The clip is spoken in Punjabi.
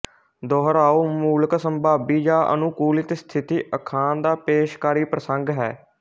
ਦੁਹਰਾਓ ਮੂਲਕ ਸਮਭਾਵੀ ਜਾਂ ਅਨੂਕੁਲਿਤ ਸਥਿਤੀ ਅਖਾਣ ਦਾ ਪੇਸ਼ਕਾਰੀ ਪ੍ਰਸੰਗ ਹੈ